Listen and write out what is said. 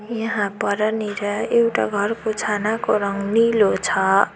यहाँ परानिर एउटा घरको छानाको रंग नीलो छ।